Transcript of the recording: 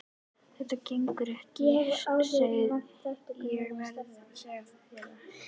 Þetta gengur ekki, ég verð að segja þér það.